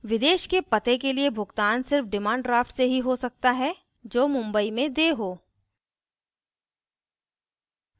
विदेश के पते के लिए भुगतान सिर्फ demand draft से ही हो सकता है जो mumbai में देय हो